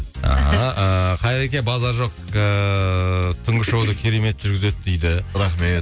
ааа ыыы қайреке базар жоқ ыыы түнгі шоуды керемет жүргізеді дейді рахмет